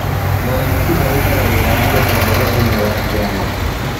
Muramati arutaga wira wa ũtongoria thĩiniĩ wa kĩama